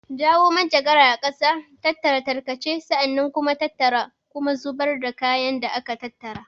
Jawo manjagara a ƙasa, tattara tarkace, sa'an nan kuma tattara kuma zubar da kayan da aka tattara.